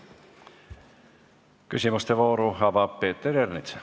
Küsimuste vooru avab Peeter Ernits.